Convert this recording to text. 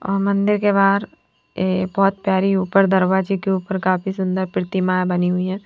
और मंदिर के बाहर ये बहुत प्यारी ऊपर दरवाजे के ऊपर काफी सुंदर प्रतिमाएं बनी हुई है।